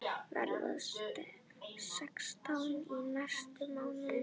Verð sextán í næsta mánuði.